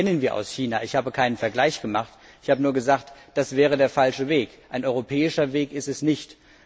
Das kennen wir aus China. Ich habe keinen Vergleich angestellt, ich habe nur gesagt, das wäre der falsche Weg, ein europäischer Weg ist es nicht.